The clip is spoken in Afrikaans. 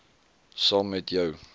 saam met jou